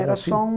Era só um